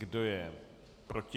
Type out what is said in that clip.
Kdo je proti?